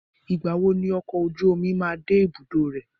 Ìgbà wo ni ọkọ̀ ojú omi máa de ibùdó rẹ̀?